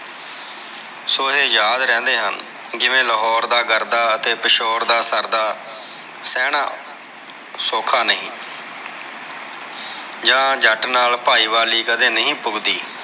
ਸੋ ਇਹ ਯਾਦ ਰਹਿੰਦੇ ਹਨ ਜਿਵੇਂ ਲਾਹੌਰ ਦਾ ਗਰਦਾ ਅਤੇ ਪਿਸ਼ੋਰ ਦਾ ਸਰਦਾ ਸਹਿਣਾ ਸੌਖਾ ਨਹੀਂ ਆ ਜੱਟ ਨਾਲ ਪਾਈ ਵਾਲੀ ਕਦੇ ਨਹੀਂ ਪੁਗਦੀ।